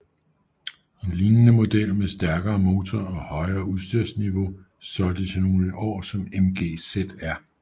En lignende model med stærkere motor og højere udstyrsniveau solgtes i nogle år som MG ZR